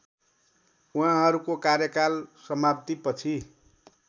उहाँहरूको कार्यकाल समाप्तिपछि